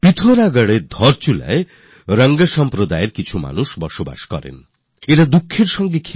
পিথোরাগড়ের ধারচুলায় রং সম্প্রদায়ের অনেক মানুষ বাস করেন যাদের নিজেদের কথাবলার ভাষা হল রঙ্গলো